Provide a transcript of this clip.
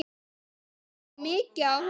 Ég lærði mikið af honum.